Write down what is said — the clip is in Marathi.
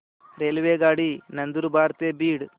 रेल्वेगाडी नंदुरबार ते बीड